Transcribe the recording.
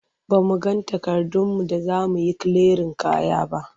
Ba mu ga takardunmu da za mu yi kiliyarin kaya ba.